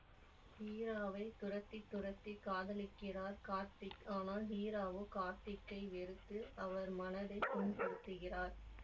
ஹீராவை துரத்தி துரத்தி காதலிக்கிறார் கார்த்திக் ஆனால் ஹீராவோ கார்த்திக்கை வெறுத்து அவர் மனதை புண்படுத்துகிறார்